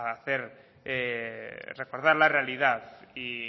a recordar la realidad